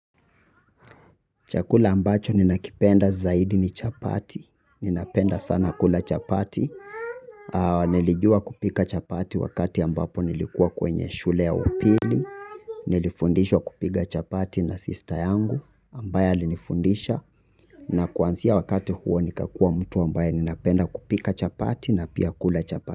Chakula ambacho ninakipenda zaidi ni chapati, ninapenda sana kula chapati, nilijua kupika chapati wakati ambapo nilikuwa kwenye shule ya upili, nilifundishwa kupiga chapati na sister yangu ambaye alinifundisha na kuansia wakati huo nikakua mtu ambaye ninapenda kupika chapati na pia kula chapati.